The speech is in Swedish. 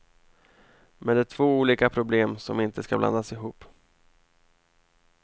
Men det är två olika problem som inte skall blandas ihop.